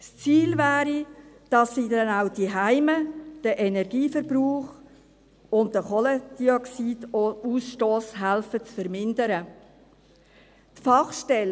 Das Ziel wäre es, dass sie den Energieverbrauch und den Kohlendioxidausstoss dann auch zu Hause zu vermindern helfen.